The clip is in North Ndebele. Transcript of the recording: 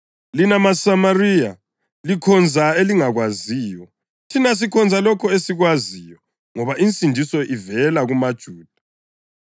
Lina maSamariya likhonza elingakwaziyo; thina sikhonza lokho esikwaziyo, ngoba insindiso ivela kumaJuda.